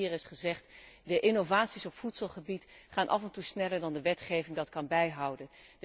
Want, zoals hier al is gezegd, de innovaties op voedselgebied gaan af en toe sneller dan de wetgeving kan bijhouden.